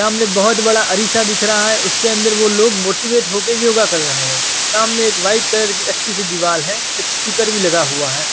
सामने एक बहुत बड़ा अरीसा दिख रहा है उसके अंदर वो लोग मोटीवेट होके योगा कर रहे हैं सामने एक व्हाईट कलर की अच्छी सी दीवाल है एक स्टीकर भी लगा हुआ है।